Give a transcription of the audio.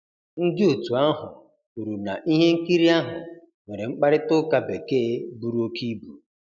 Ndị otu ahụ kwuru na ihe nkiri ahụ nwere 'mkparịta ụka Bekee buru óké ibu'.